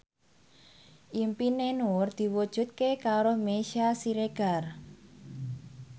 impine Nur diwujudke karo Meisya Siregar